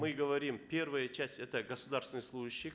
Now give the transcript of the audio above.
мы говорим первая часть это государственные служащие